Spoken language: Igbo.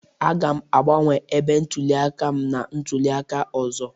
Aga m agbanwe ebe ntụliaka m na ntụliaka ọzọ